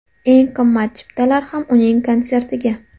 Eng qimmat chiptalar ham uning konsertiga.